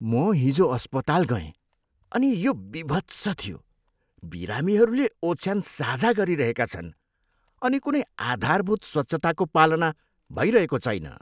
म हिजो अस्पताल गएँ अनि यो बीभत्स थियो। बिरामीहरूले ओछ्यान साझा गरिरहेका छन् अनि कुनै आधारभूत स्वच्छताको पालना भइरहेको छैन।